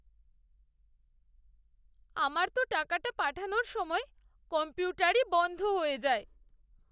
আমার তো টাকাটা পাঠানোর সময় কম্পিউটারই বন্ধ হয়ে যায়।